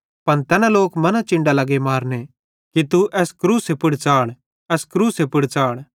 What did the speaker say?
पन तैना लोक मना चिन्डां लगे मारने कि तू एस क्रूसे पुड़ च़ाढ़ एस क्रूस पुड़ च़ाढ़